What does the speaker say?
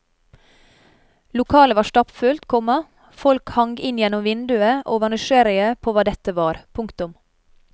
Lokalet var stappfullt, komma folk hang inn gjennom vinduene og var nysgjerrige på hva dette var. punktum